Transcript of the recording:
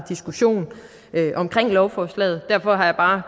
diskussion omkring lovforslaget derfor har jeg bare